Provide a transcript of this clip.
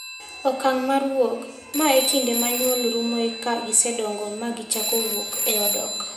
Okang' mar wuok: Ma e kinde ma nyuol rumoe ka gisedongo ma gichako wuok e odok.